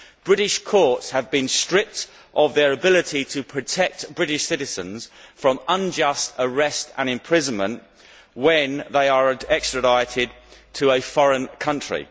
British courts have been stripped of their ability to protect British citizens from unjust arrest and imprisonment when they are extradited to a foreign country.